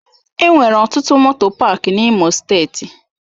Enwere ọtụtụ moto pááki n'Imo steeti.